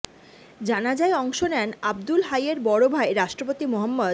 জানাজায় অংশ নেন আবদুল হাইয়ের বড় ভাই রাষ্ট্রপতি মো